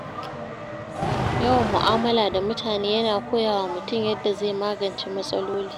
Yawan mu’amala da mutane yana koya wa mutum yadda zai magance matsaloli.